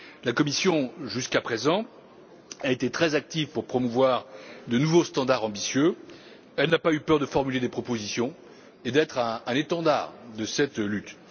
La Commission, jusqu'à présent, a été très active pour promouvoir de nouvelles normes ambitieuses. Elle n'a pas eu peur de formuler des propositions et d'être un étendard de cette lutte.